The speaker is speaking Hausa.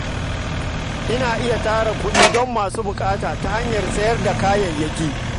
Ana iya tara kuɗi don masu buƙata ta hanyar sayar da kayayyaki.